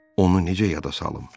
onu necə yada salım?